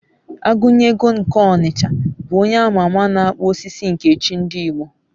Agunyego nke n'Ọnịcha bụ onye a ma ama na-akpụ osisi nke chi ndị Igbo